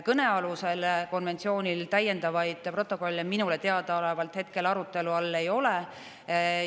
Kõnealusel konventsioonil täiendavaid protokolle minule teadaolevalt hetkel arutelu all ei ole.